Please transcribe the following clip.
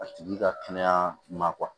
A tigi ka kɛnɛya ma